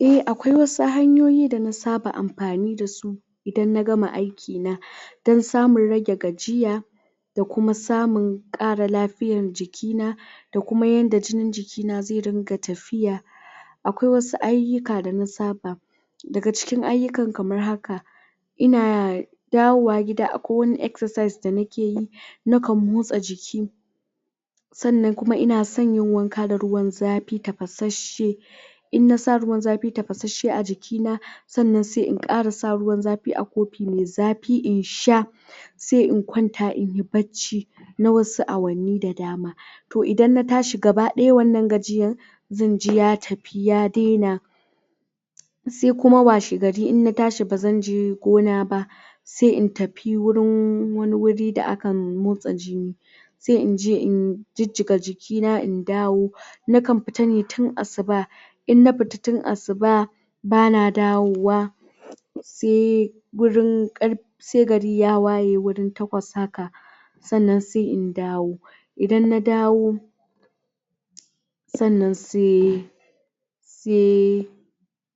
a akwai wasu hanyoyi da na saba amfani dasu idan na gama aiki na dan samun rage gajiya da kuma samun kara lafiyan jiki na da kuma yanda jinin jiki na zai ringa tafiya akwai wasu aiyuka da na saba daga cikin aiyukan kamar haka ina dawowa gida akwai wani excercise da nake yi na kan motsa jiki sannan kuma ina son yin wanka da ruwan zafi tafasasce in na sa ruwwan zafi tafasashe a jiki na sannan sai in kara sa ruwa mai zafi a kofi in sha sai in kwanta inyi bacci na wasu awanni da dama toh idan na tashi gaba daya wannan gajiyan zan ji ya tafi ya daina sai kuma washe gari in na tsahi bazan je gona ba sai i tafi wurin wani wuri da akan motsa jini sai inje in jijjiga jiki na in dawo na kan fita ne tun asuba in na fita tun asuba bana dawowa sai gurin karfe sai gari ya waye wurin takwas haka sannnan sai in dawo idan na dawo sannan sai sai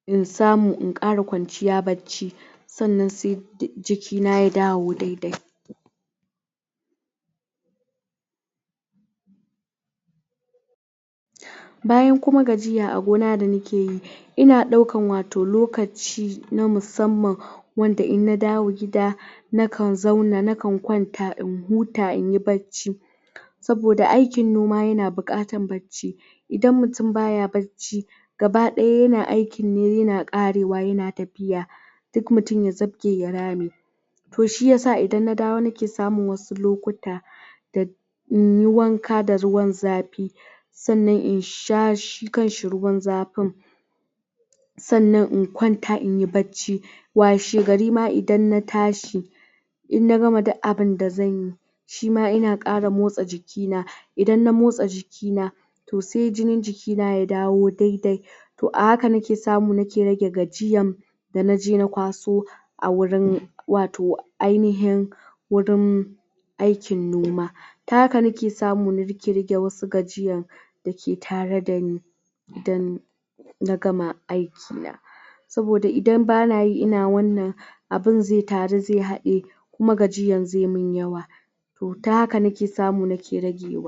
in samu in kara kwanciya bacci sannan sai jikina ya dawo dai dai bayan kuma gajiya a gona da nakeyi ina daukan wato lokaci na musamman wanda in na dawo gida na kan zauna na kan kwanta in huta inyi bacci saboda aikin noma yana bukatan bacci inda mutum baya bacci gaba daya yana aikin ne yana karawa yana tafiya duk mutum ya zabge ya rame toh shiyasa idan na dawo nake samun wasu lokuta da inyi wanka da ruwan zafi sannan in sha shi kanshi ruwan zafin sannan in kwanta inyi bacci washe gari ma idan na tashi in na gama duk abun da zanyi shima ina kara motsa jiki na idan na motsa jiki na toh sai jinin jiki na ya dawo dai dai toh a haka nake samu nake rage gajiyan da naje na kwaso a wurin wato ainihin wurin aikin noma ta haka nake samu nake rage wasu gajiyan dake tara dani dan na gama aiki an saboda idan banayi ina wannan abun zai taru zai hadiye kuma gajiyan zai mun yawa toh ta haka nake samu nake rage wa